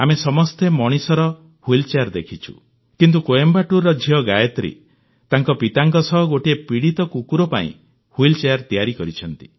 ଆମେ ସମସ୍ତେ ମଣିଷର ହ୍ୱିଲ୍ ଚେୟାର ଦେଖିଛୁ କିନ୍ତୁ କୋଏମ୍ବାଟୁରର ଝିଅ ଗାୟତ୍ରୀ ତାଙ୍କ ପିତାଙ୍କ ସହ ଗୋଟିଏ ପୀଡ଼ିତ କୁକୁର ପାଇଁ ହ୍ୱିଲ ଚେୟାର ତିଆରି କରିଛନ୍ତି